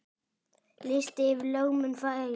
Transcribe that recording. Listi yfir lögmenn Færeyja